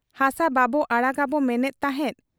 ᱦᱟᱥᱟ ᱵᱟᱵᱚ ᱟᱲᱟᱜᱜᱟᱵᱚ ᱢᱮᱱᱮᱫ ᱛᱟᱦᱮᱸᱫ ᱾